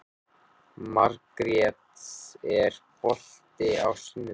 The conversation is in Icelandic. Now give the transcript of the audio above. Margrjet, er bolti á sunnudaginn?